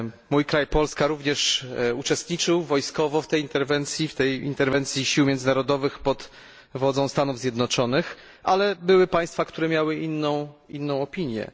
Mój kraj, Polska, również uczestniczył wojskowo w tej interwencji, w tej interwencji sił międzynarodowych pod wodzą Stanów Zjednoczonych, ale były państwa, które miały inną opinię.